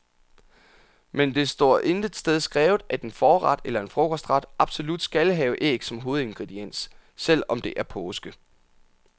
Men det står intet sted skrevet, at en forret eller en frokostret absolut skal have æg som hovedingrediens, selv om det er påske.